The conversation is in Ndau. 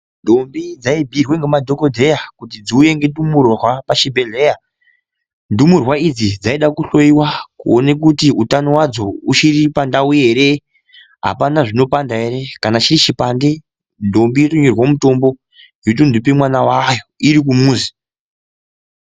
Ndombi dzaibhuyirwe ngemadhokodheya kuti dziuye nendumurwa pachibhehleya ,ndumurwa idzi dzaide kuhloyiwa kuone kuti utano hwadzo uchiri pandau ere apana zvinopanda ere, kana chirichipande ndombi yotonyorerwe mutombo yotonope mwana wayo irikumuzi.